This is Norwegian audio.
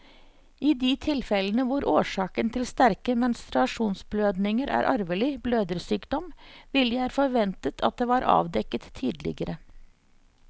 I de tilfellene hvor årsaken til sterke menstruasjonsblødninger er arvelig blødersykdom, ville jeg forventet at det var avdekket tidligere.